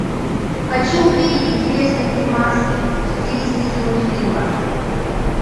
хочу увидеть интересный фильмас в стилистике мультфильма